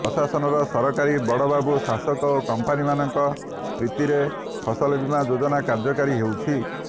ପ୍ରଶାସନର ସରକାରୀ ବଡ଼ବାବୁ ଶାସକ ଓ କମ୍ପାନୀମାନଙ୍କ ପ୍ରୀତିରେ ଫସଲବୀମା ଯୋଜନା କାର୍ଯ୍ୟକାରୀ ହେଉଛି